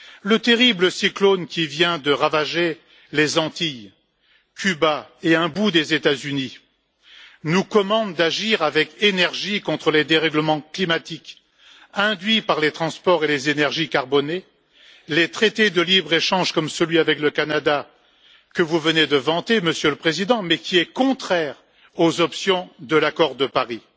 Le terrible cyclone qui vient de ravager les Antilles, Cuba et un bout des États Unis nous commande d'agir avec énergie contre les dérèglements climatiques induits par les transports et les énergies carbonées, les traités de libre échange, comme celui avec le Canada que vous venez de vanter Monsieur le Président, mais qui est contraire aux options de l'accord de Paris.